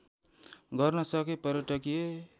गर्न सके पर्यटकीय